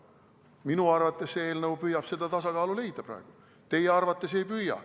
Minu arvates püüab see eelnõu seda tasakaalu leida, teie arvates ei püüa.